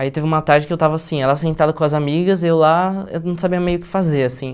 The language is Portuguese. Aí teve uma tarde que eu estava assim, ela sentada com as amigas, eu lá, eu não sabia meio o que fazer, assim.